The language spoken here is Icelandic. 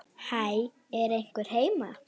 Hæ, er einhver heima?